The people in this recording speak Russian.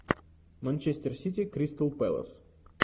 манчестер сити кристал пэлас